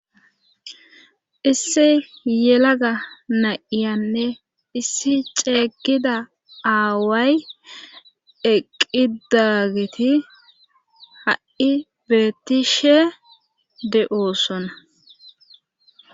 Issi yelaga na'iyanne issi ceegida aaway eqqidageti ha'i beettishe de'oosona.